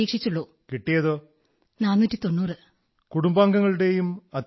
so what is the reaction of your family members your teachers